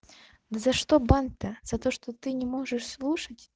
за что бан то за то что ты не можешь слушать